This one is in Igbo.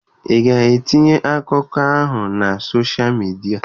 Ị ga-etinye akụkọ a na soshal midia?